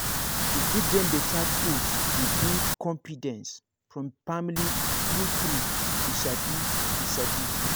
to give dem better food dey build confidence from family true true you sabi you sabi